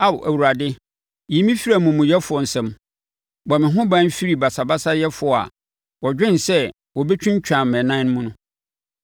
Ao Awurade, yi me firi amumuyɛfoɔ nsam; bɔ me ho ban firi basabasayɛfoɔ a wɔdwene sɛ wɔbɛtwintwan mʼanan mu.